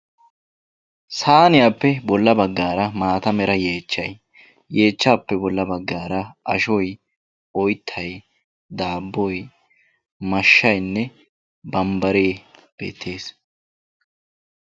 saaniyaappe bolla bagaara maata mala yeechchay, yeechchaappe bola bagaara ashoy, oyttay, daaboy, mashshaynne bambaree beetees.